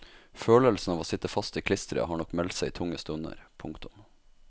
Følelsen av å sitte fast i klisteret har nok meldt seg i tunge stunder. punktum